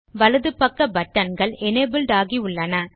வலது பக்க பட்டன் கள் எனபிள்ட் ஆகி உள்ளன